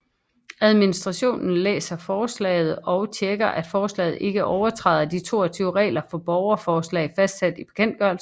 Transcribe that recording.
Administrationen læser forslaget og tjekker at forslaget ikke overtræder de 22 regler for borgerforslag fastsat i bekendtgørelsen